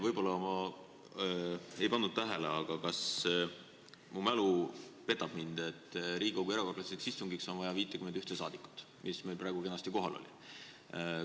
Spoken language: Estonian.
Võib-olla ma ei pannud tähele, aga kas mu mälu petab mind, et Riigikogu erakorraliseks istungiks on vaja 51 rahvasaadikut, kes meil praegu kenasti kohal olid?